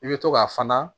I bɛ to k'a fana